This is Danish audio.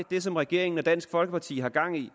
det som regeringen og dansk folkeparti har gang i